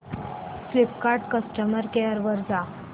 Flipkart customer care वर जा